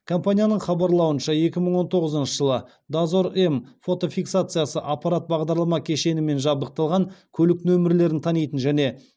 компанияның хабарлауынша екі мың он тоғызыншы жылы дозор м фотофиксациясы аппарат бағдарлама кешенімен жабдықталған көлік нөмірлерін танитын және